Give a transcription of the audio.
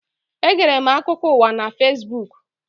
Egere m akụkọ ụwa na Fesbuku.